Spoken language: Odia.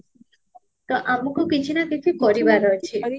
ତ ଆମକୁ କିଛି ନା କିଛି କରିବାର ଅଛି